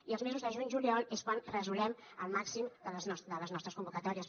i els mesos de juny juliol és quan resolem el màxim de les nostres convocatòries